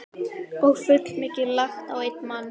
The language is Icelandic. Og fullmikið lagt á einn mann.